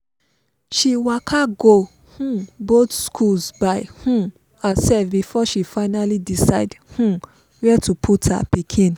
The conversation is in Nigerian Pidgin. she waka go um both schools by um herself before she finally decide um where to put her pikin